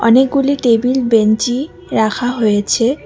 অনেকগুলি টেবিল বেঞ্চি রাখা হয়েছে।